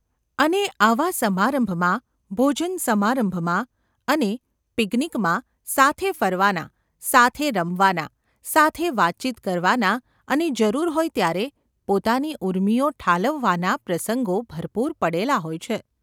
અને આવા સમારંભમાં ભોજનસમારંભમાં અને ‘પિકનિક’ માં સાથે ફરવાના, સાથે રમવાના, સાથે વાતચીત કરવાના અને જરૂર હોય ત્યારે પોતાની ઊર્મિઓ ઠાલવવાના પ્રસંગો ભરપૂર પડેલા હોય છે.